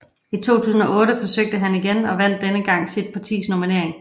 I 2008 forsøgte han igen og vandt denne gang sit partis nominering